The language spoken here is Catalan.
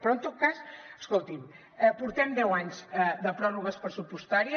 però en tot cas escolti’m portem deu anys de pròrrogues pressupostàries